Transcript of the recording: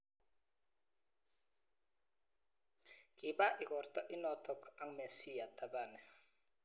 Kiba ikorta inotok ak Mesiah Thabane.